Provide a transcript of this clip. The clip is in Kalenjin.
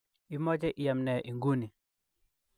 Imoche iam nee inguni?